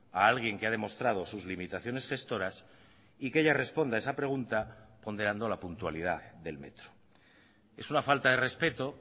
a alguien que ha demostrado sus limitaciones gestoras y que ella responda esa pregunta ponderando la puntualidad del metro es una falta de respeto